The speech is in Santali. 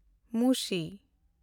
ᱢᱩᱥᱤ